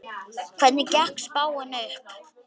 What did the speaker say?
Hvernig gekk spáin upp?